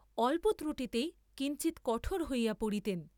অল্প ত্রুটিতেই কিঞ্চিৎ কঠোর হইয়া পড়িতেন।